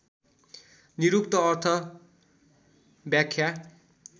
निरुक्त अर्थ व्याख्या